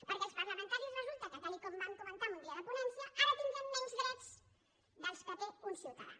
perquè els parlamentaris resulta que tal com vam comentar en un dia de ponència ara tindrem menys drets que els que té un ciutadà